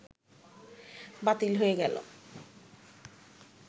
বাতিল হয়ে গেল